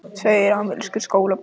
Tveir amerískir skólabræður